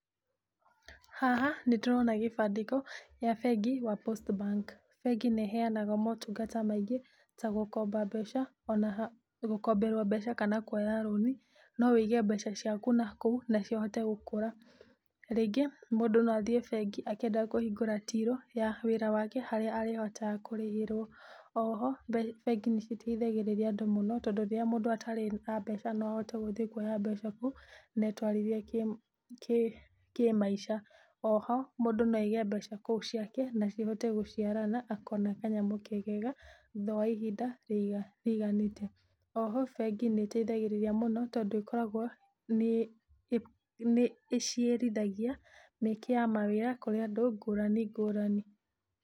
Haha nĩ ndĩrona gĩbandĩko gĩa bengi ya postbank bengi nĩ ĩheanaga motungata maingĩ gũkomberwo mbeca kana kuoya rũni. No wige mbeca ciaku nakũu na ihote gũkũra. Rĩngĩ mũndũ no athiĩ bengi akĩenda kũhingũra till ya wĩra wake harĩa arĩhotata kũrĩhĩrwo. Oho bengi nĩ iteithagĩriria andũ mũno, tondũ rĩrĩa mũndũ atarĩ na mbeca no ũhote gũthiĩ kuoya mbeca kũu na etwarithie kĩmaica. Oho mũndũ no aige mbeca kũu ciake na cihote gũciarana akona kanyamũ kegega thutha wa ihinda rĩrĩa rĩiganĩte. Oho bengi nĩ ĩteithagirĩria mũno tondũ ĩkoragwo nĩ ĩciarithagia mĩeke ya mawĩra kũrĩ andũ ngũrani ngũrani.